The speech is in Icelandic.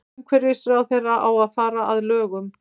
Umhverfisráðherra á að fara að lögum